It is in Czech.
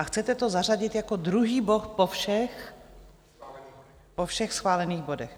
A chcete to zařadit jako druhý bod po všech schválených bodech.